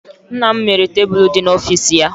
Nna m mere tebụl dị n'ọfịs ya.